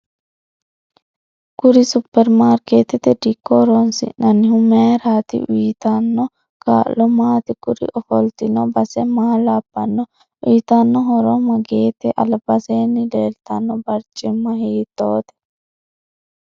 Kuri superimaarkeetete dikko horoosinanihu mayiirati uyiitano kaa'lo maati kuri ofoltino base maa labbanno uyiitanno horo mageete albaseeni leeltano baricimma hiitoote